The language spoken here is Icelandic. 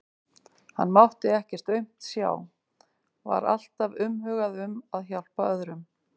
Hann mátti ekkert aumt sjá, var alltaf umhugað um að hjálpa öðrum.